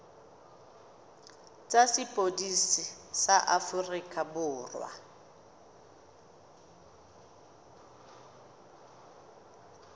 tsa sepodisi sa aforika borwa